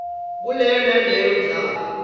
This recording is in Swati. kuleyo naleyo ndzawo